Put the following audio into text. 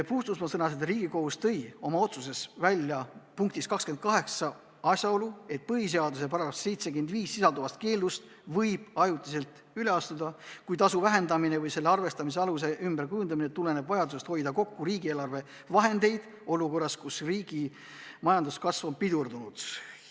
Mina sõnasin, et Riigikohus tõi oma otsuses välja asjaolu, et põhiseaduse §-s 75 sisalduvast keelust võib ajutiselt üle astuda, kui tasu vähendamine või selle arvestamise aluse ümberkujundamine tuleneb vajadusest hoida kokku riigieelarve vahendeid olukorras, kus riigi majanduskasv on pidurdunud.